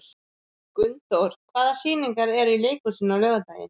Gunndór, hvaða sýningar eru í leikhúsinu á laugardaginn?